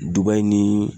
Duba in ni